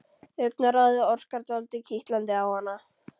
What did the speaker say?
Augnaráðið orkar dálítið kitlandi á hana.